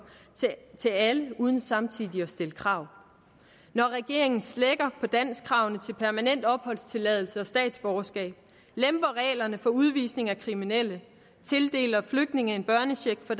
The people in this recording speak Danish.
til alle uden samtidig at stille krav når regeringen slækker på danskkravene til permanent opholdstilladelse og statsborgerskab lemper reglerne for udvisning af kriminelle tildeler flygtninge en børnecheck fra